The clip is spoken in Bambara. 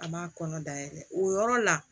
A m'a kɔnɔ dayɛlɛ o yɔrɔ la